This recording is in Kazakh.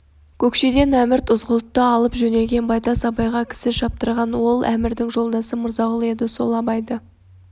көкшеден әмірд ызғұтты алып жөнелгенде байтас абайға кісі шаптырған ол әмірдің жолдасы мырзағұл еді сол абайды